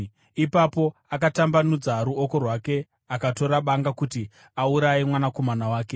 Ipapo akatambanudza ruoko rwake akatora banga kuti auraye mwanakomana wake.